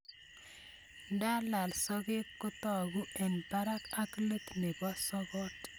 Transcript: nda lal sogek ko tagu eng' parak ak let nebo sogot